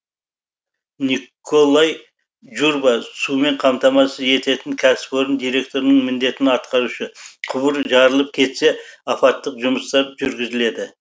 николай журба сумен қамтамасыз ететін кәсіпорын директорының міндетін атқарушы құбыр жарылып кетсе апаттық жұмыстар жүргізіледі